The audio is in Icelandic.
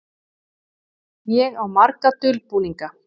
Ég á marga dulbúninga.